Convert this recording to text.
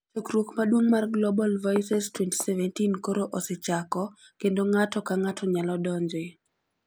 Chokruok maduong' mar Global Voices 2017 koro osechako, kendo ng'ato ka ng'ato nyalo donjoe!